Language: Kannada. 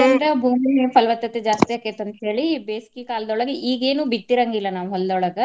ಬಂದ್ರ ಭೂಮಿ ಪಲವತ್ತತೆ ಜಾಸ್ತಿ ಅಕ್ಕೆತಿ ಅಂತ ಹೇಳಿ ಬೇಸಿಗೆ ಕಾಲ್ದೊಳಗ ಈಗೇನು ಬಿತ್ತಿರಾಂಗಿಲ್ಲ ನಾವು ಹೊಲ್ದೊಳಗ.